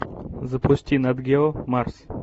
запусти нат гео марс